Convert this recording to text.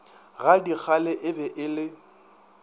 gadikgale e be e le